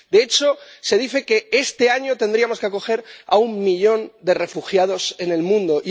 De hecho, se dice que este año tendríamos que acoger a un millón de refugiados en el mundo...